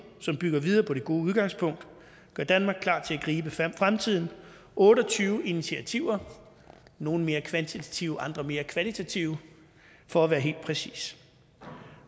som bygger videre på det gode udgangspunkt og gør danmark klar til at gribe fremtiden otte og tyve initiativer nogle mere kvantitative andre mere kvalitative for at være helt præcis